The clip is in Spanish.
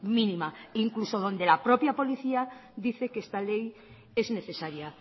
mínima incluso donde la propia policía dice que esta ley es necesaria